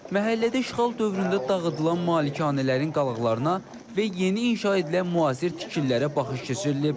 Məhəllədə işğal dövründə dağıdılan malikanələrin qalıqlarına və yeni inşa edilən müasir tikililərə baxış keçirilib.